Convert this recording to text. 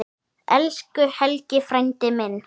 Elsku Helgi frændi minn.